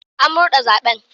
An murde zaben.